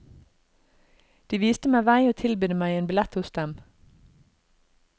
De visste meg vei og tilbydde meg en billett hos dem.